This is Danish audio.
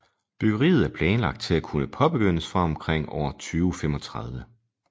Byggeriet er planlagt til at kunne påbegyndes fra omkring år 2035